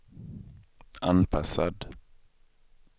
anpassad